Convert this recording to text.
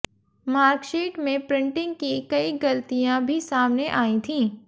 marksheet में printing की कई गलतियां भी सामने आई थीं